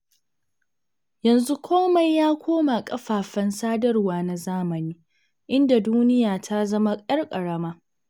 Yanzu komai ya koma kafafen sadarwa na zamani, inda duniya ta zama 'yar ƙarama.